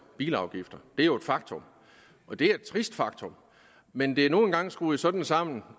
bilafgifter det er jo et faktum og det er et trist faktum men det er nu engang skruet sådan sammen